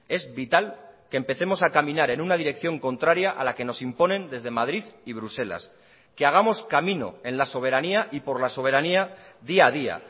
es vital que empecemos a caminar en una dirección contraria a la que nos imponen desde madrid y bruselas que hagamos camino en la soberanía y por la soberanía día a día